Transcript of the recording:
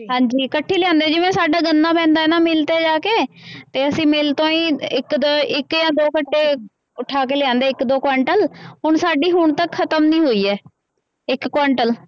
ਹਾਂਜੀ ਇਕੱਠੀ ਲਿਆਉਂਦੇ ਜਿਵੇਂ ਸਾਡਾ ਗੰਨਾ ਪੈਂਦਾ ਹੈ ਨਾ ਮਿਲ ਤੇ ਜਾ ਕੇ ਤੇ ਅਸੀਂ ਮਿਲ ਤੋਂ ਹੀ ਇੱਕ ਦੋ ਇੱਕ ਜਾਂ ਦੋ ਗੱਟੇ ਉਠਾ ਕੇ ਲਿਆਉਂਦੇ ਇੱਕ ਦੋ ਕੁਆਂਟਲ ਹੁਣ ਸਾਡੀ ਹੁਣ ਤੱਕ ਖ਼ਤਮ ਨੀ ਹੋਈ ਹੈ ਇੱਕ ਕੁਆਂਟਲ।